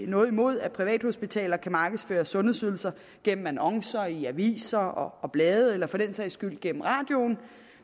noget imod at privathospitaler kan markedsføre sundhedsydelser gennem annoncer i aviserne og blade eller for den sags skyld gennem radioen